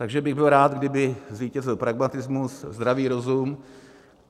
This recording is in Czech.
Takže bych byl rád, kdyby zvítězil pragmatismus, zdravý rozum.